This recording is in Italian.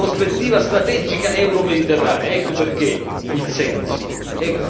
Non possiamo rinunciare alla nostra prospettiva strategica euromediterranea.